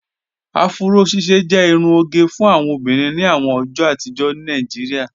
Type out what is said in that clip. Afúró ṣíṣẹ jẹ irún ogẹ fún awọn obìnrin ní àwọn ọjọ́ àtìjọ̀ ní Naijíríà